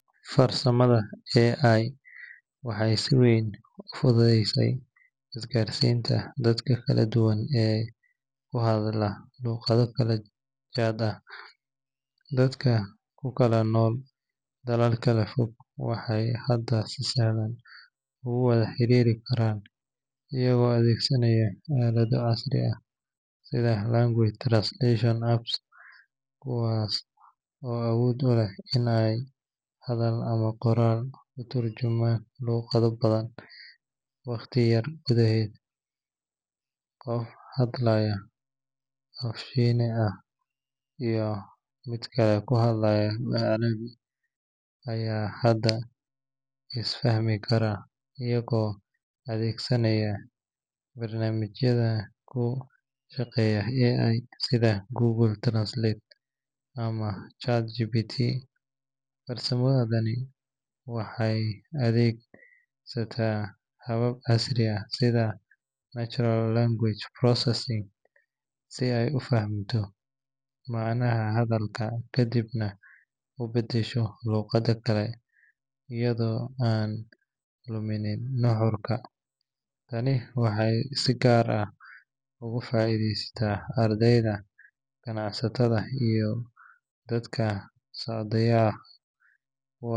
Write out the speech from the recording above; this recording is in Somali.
Farsamada AI waxay si weyn u fududeysay isgaarsiinta dadka kala duwan ee ku hadla luqado kala jaad ah. Dadka ku kala nool dalal kala fog waxay hadda si sahlan ugu wada xiriiri karaan iyagoo adeegsanaya aalado casri ah sida language translation apps, kuwaas oo awood u leh in ay hadal ama qoraal ku turjumaan luqado badan waqti yar gudaheed. Qof hadlaya af Shiine ah iyo mid ku hadlaya af Carabi ah ayaa hadda is fahmi kara iyagoo adeegsanaya barnaamijyada ku shaqeeya AI sida Google Translate ama ChatGPT. Farsamadani waxay adeegsataa habab casri ah sida natural language processing si ay u fahamto macnaha hadalka kadibna u beddesho luqad kale iyadoo aan luminin nuxurka. Tani waxay si gaar ah ugu faa’iideysay ardayda, ganacsatada, iyo dadka socdaalaya.